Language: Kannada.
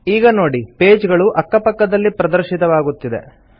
ಈಗ ನೋಡಿ ಪೇಜ್ ಗಳು ಅಕ್ಕ ಪಕ್ಕದಲ್ಲಿ ಪ್ರದರ್ಶಿತವಾಗುತ್ತಿದೆ